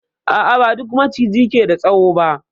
A a, ba duk Maciji ke da tsawo ba.